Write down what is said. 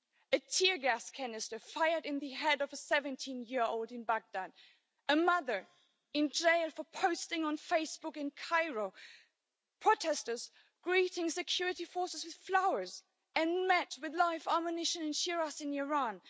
A tear gas canister fired at the head of a 17 year old in Baghdad, a mother in jail for posting on Facebook in Cairo, protesters greeting security forces with flowers and met with live ammunition in Shiraz in Iran.